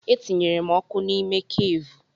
Etinyere m ọkụ n'ime keevu.